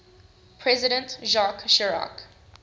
president jacques chirac